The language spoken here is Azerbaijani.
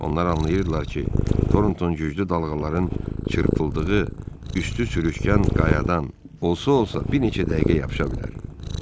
Onlar anlayırdılar ki, Torton güclü dalğaların çırpıldığı, üstü sürüşkən qayadan olsa-olsa bir neçə dəqiqə yapışa bilər.